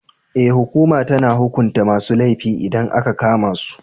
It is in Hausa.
Ee, hukuma tana hukunta masu laifi idan aka kama su.